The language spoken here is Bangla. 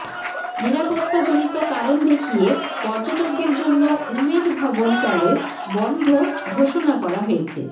নিরাপত্তাজনিত কারণ দেখিয়ে পর্যটকদের জন্য উমেদ ভবন প্যালেস বন্ধ ঘোষণা করা হয়েছে